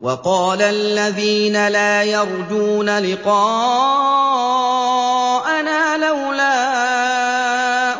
۞ وَقَالَ الَّذِينَ لَا يَرْجُونَ لِقَاءَنَا لَوْلَا